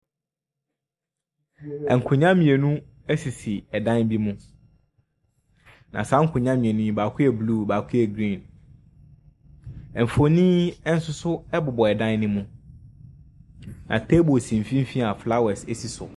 Ɛnkonwa mienu esisi ɛdan bi mu. Na saa nkonwa mienu yi baako yɛ blu, baako yɛ griin. Ɛnfonin ɛsoso ɛbobɔ ɛdan ne mu. Na teebol si mfimfini a flawɛs esi so.